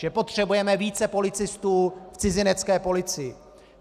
Že potřebujeme více policistů v cizinecké policii.